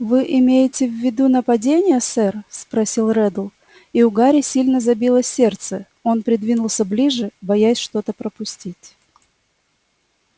вы имеете в виду нападения сэр спросил реддл и у гарри сильно забилось сердце он придвинулся ближе боясь что-то пропустить